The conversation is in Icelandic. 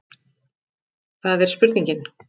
Það er spurningin.